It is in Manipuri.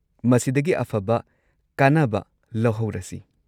ꯃꯁꯤꯗꯒꯤ ꯑꯐꯕ ꯀꯥꯟꯅꯕ ꯂꯧꯍꯧꯔꯁꯤ꯫